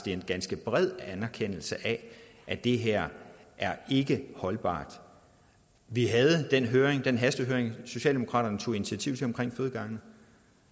en ganske bred anerkendelse af at det her ikke er holdbart vi havde den hastehøring socialdemokratiet tog initiativ til om fødegange